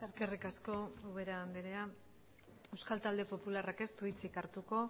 eskerrik asko eskerrik asko ubera andrea euskal talde popularrak ez du hitzik hartuko